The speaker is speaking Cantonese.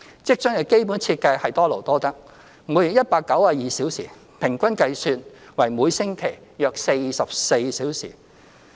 職津的基本設計是多勞多得，每月192小時，平均計算為每星期約44小時。